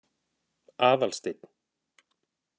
Aðalsteinn